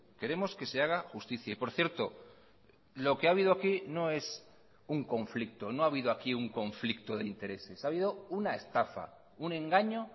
queremos que se haga justicia y por cierto lo que ha habido aquí no es un conflicto no ha habido aquí un conflicto de intereses ha habido una estafa un engaño